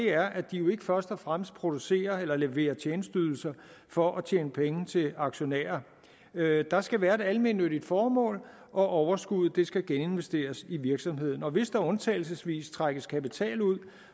er at de ikke først og fremmest producerer eller leverer tjenesteydelser for at tjene penge til aktionærer der skal være et almennyttigt formål og overskuddet skal geninvesteres i virksomheden og hvis der undtagelsesvis trækkes kapital ud